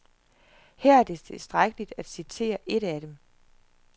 Her er det tilstrækkeligt at citere et af dem.